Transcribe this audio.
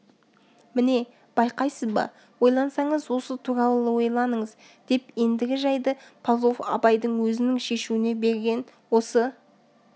міне байқайсыз ба ойлансаңыз осы туралы ойланыңыз деп ендігі жайды павлов абайдың өзінің шешуіне берген осы